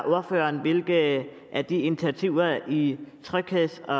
ordføreren hvilke af de initiativer i trygheds og